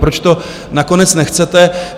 Proč to nakonec nechcete?